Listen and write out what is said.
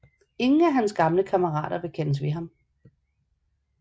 Ingen af hans gamle kammerater vil kendes ved ham